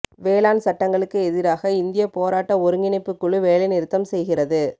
வேளாண் சட்டங்களுக்கு எதிராக இந்தியா போராட்ட ஒருங்கிணைப்புக் குழு வேலைநிறுத்தம் செய்கிறது